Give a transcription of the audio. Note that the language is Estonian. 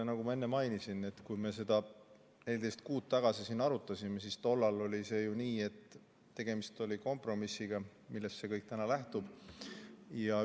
Nagu ma enne mainisin, et kui me seda 14 kuud tagasi siin arutasime, siis tollal oli see ju nii, et tegemist oli kompromissiga, millest see täna lähtub.